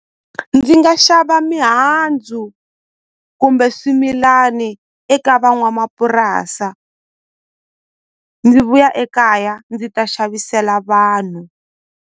Ndzi nga xava mihandzu kumbe swimilani eka van'wamapurasa ndzi vuya ekaya ndzi ta xavisela vanhu.